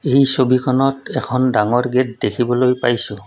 এই ছবিখনত এখন ডাঙৰ গেট দেখিবলৈ পাইছোঁ।